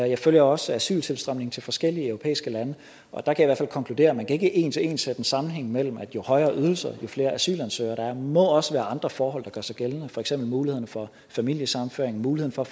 jeg følger også asyltilstrømningen til forskellige europæiske lande og der kan jeg fald konkludere at man ikke en til en kan sætte en sammenhæng mellem at jo højere ydelser jo flere asylansøgere der må også være andre forhold der gør sig gældende for eksempel muligheden for familiesammenføring muligheden for